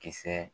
Kisɛ